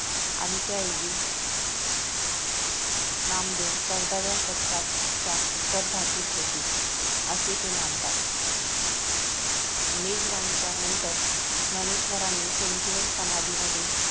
आणि त्याऐवजी नामदेव चौदाव्या शतकाच्या उत्तराद्रातील होते असे ते मानतात मेजावानीच्या नंतर ज्ञानेश्वरांनी संजीवनी समाधीमध्ये